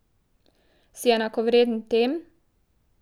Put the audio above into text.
Si enakovreden tem?